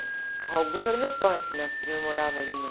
A Rua Augusta era o meu point, porque minha prima morava ali na...